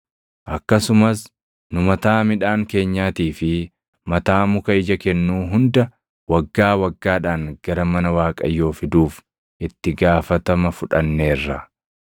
“Akkasumas nu mataa midhaan keenyaatii fi mataa muka ija kennuu hunda waggaa waggaadhaan gara mana Waaqayyoo fiduuf itti gaafatama fudhanneerra.